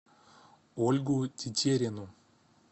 ольгу тетерину